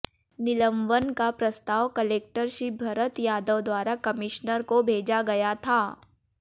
निलंवन का प्रस्ताव कलेक्टर श्री भरत यादव द्वारा कमिश्नर को भेजा गया था